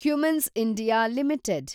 Cummins India limited